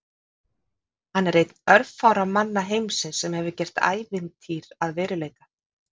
Hann er einn örfárra manna heimsins sem hefur gert ævintýr að veruleika.